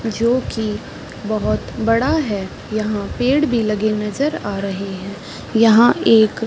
जो कि बहुत बड़ा है यहाँ पेड़ भी लगे हुए नजर आ रहे हैं यहाँ एक --